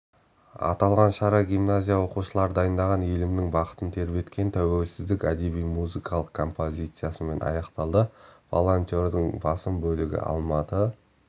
аталған шара гимназия оқушылары дайындаған елімнің бақытын тербеткен тәуелсіздік әдеби-музыкалық композициясымен аяқталды волонтерлердің басым бөлігі алматы